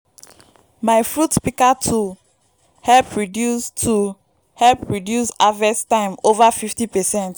you no nid much strength to operate a good fruit good fruit pika